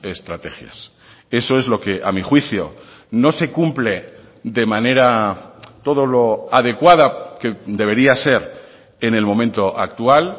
estrategias eso es lo que a mí juicio no se cumple de manera todo lo adecuada que debería ser en el momento actual